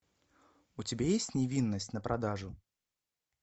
у тебя есть невинность на продажу